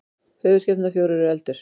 höfuðskepnurnar fjórar eru eldur